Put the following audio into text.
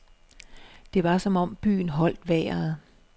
Det var som om byen holdt vejret.